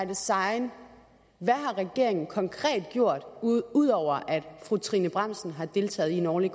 design hvad har regeringen konkret gjort ud ud over at fru trine bramsen har deltaget i en årlig